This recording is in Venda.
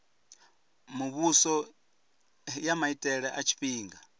muvhuso ya maitele a tshifhinga